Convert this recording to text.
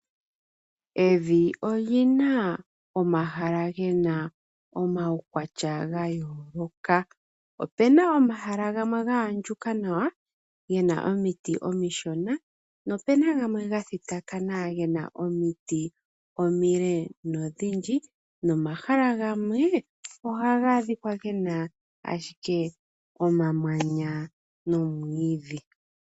Evi olyina omahala gena omawukwatya gaayoloka. Opena omahala gamwe gaandjuka nawa gena omiti omishona. Nopena gamwe ga thitakana gena omiti omile dho odhindji. Nomahala gamwe ohaga adhika gena ashike omamanya nomwiidhi.